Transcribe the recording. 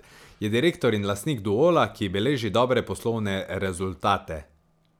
Je direktor in lastnik Duola, ki beleži dobre poslovne rezultate.